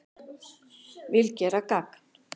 Vil gera gagn